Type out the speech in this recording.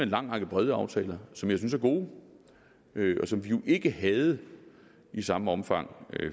lang række brede aftaler som jeg synes er gode og som vi jo ikke havde i samme omfang